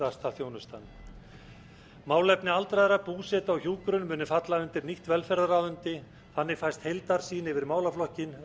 sérhæfðasta þjónustan málefni aldraðra búseta og hjúkrun munu falla undir nýtt velferðarráðuneyti þannig fæst heildarsýn yfir málaflokkinn